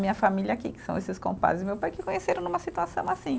Minha família aqui, que são esses compadres do meu pai, que conheceram numa situação assim.